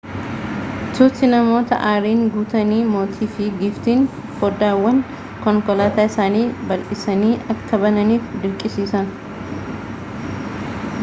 tuuti namoota aariin guutanii mootii fi giiftiin foddaawwan konkolaataa isaanii bal'isanii akka bananiif dirqisiisan